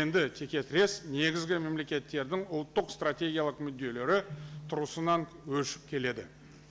енді теке тірес негізгі мемлекеттердің ұлттық стратегиялық мүдделері тұрғысынан өршіп келеді